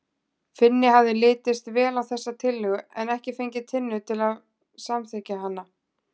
Finni hafði litist vel á þessa tillögu en ekki fengið Tinnu til að samþykkja hana.